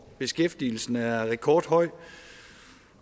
beskæftigelsen er rekordhøj